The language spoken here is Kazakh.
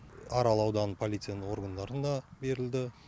арал ауданы полицияның органдарын да берілді